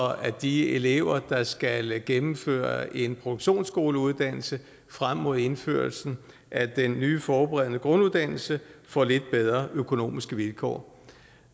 at de elever der skal gennemføre en produktionsskoleuddannelse frem mod indførelsen af den nye forberedende grunduddannelse får lidt bedre økonomiske vilkår